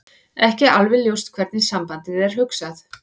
Ekki er alveg ljóst hvernig sambandið er hugsað.